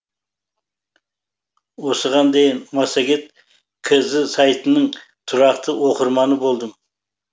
осыған дейін массагет кз сайтының тұрақты оқырманы болдым